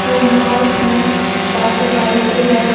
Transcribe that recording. Room बहोत ही साफ सफाई से है।